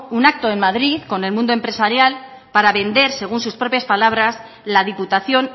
un acto en madrid con el mundo empresarial para vender según sus propias palabras la diputación